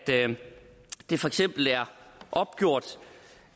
det for eksempel er opgjort